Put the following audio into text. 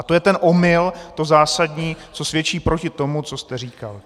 A to jen ten omyl, to zásadní, co svědčí proti tomu, co jste říkal.